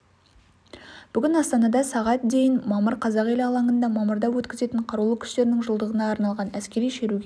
бүгін астанада сағат дейін мамыр қазақ елі алаңында мамырда өткізетін қарулы күштерінің жылдығына арналған әскери шеруге